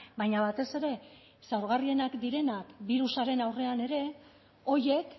baina batez ere zaurgarrienak direnak birusaren aurrean ere horiek